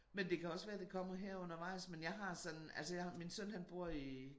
Men det kan også være det kommer her undervejs men jeg har sådan altså jeg har min søn han bor i